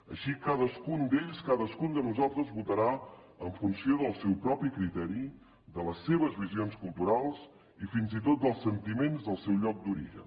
així cadascun d’ells cadascun de nosaltres votarà en funció del seu propi criteri de les seves visions culturals i fins i tot dels sentiments del seu lloc d’origen